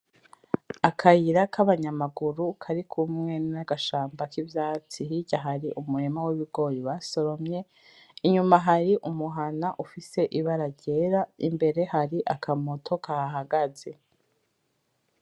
Akayira kabanyamaguru kari kumwe n’ agashamba kivyatsi hirya hari umurima w’ ibigori basoromye, inyuma hari umuhana ufise ibara ryera imbere hari akamoto kahahagaze.